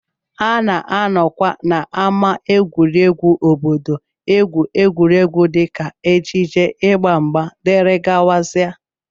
A na-anọkwa n'ámá egwuregwu obodo egwu egwuregwu dịka ejije, ịgba mgba, dgz